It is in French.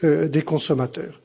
des consommateurs,